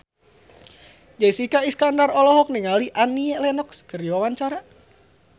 Jessica Iskandar olohok ningali Annie Lenox keur diwawancara